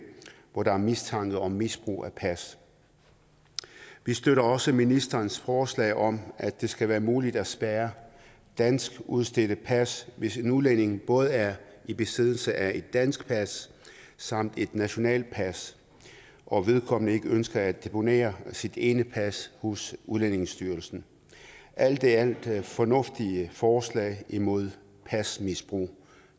hvor der er mistanke om misbrug af pas vi støtter også ministerens forslag om at det skal være muligt at spærre danskudstedte pas hvis en udlænding både er i besiddelse af et dansk pas samt et nationalt pas og vedkommende ikke ønsker at deponere sit ene pas hos udlændingestyrelsen alt i alt er det fornuftige forslag imod pasmisbrug og